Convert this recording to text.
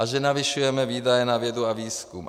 A že navyšujeme výdaje na vědu a výzkum.